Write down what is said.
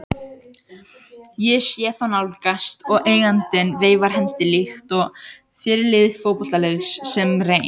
Ég sé þá nálgast og eigandinn veifar hendi líkt og fyrirliði fótboltaliðs sem reyn